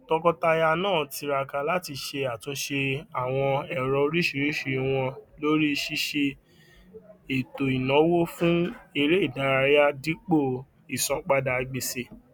tọkọtaya naa tiraka láti ṣe àtúnṣe àwọn èrò oríṣiríṣi wọn lórí ṣíṣe ètòìnáwó fún eré ìdárayá dípò ìsanpadà gbèsè